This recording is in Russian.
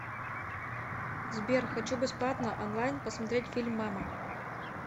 сбер хочу бесплатно онлайн посмотреть фильм мама